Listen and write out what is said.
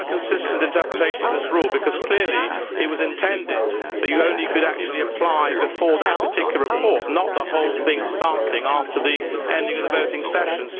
Can you have a consistent interpretation of this rule, because clearly it was intended that you could only apply before that particular report, not the whole thing starting after the ending of the voting session?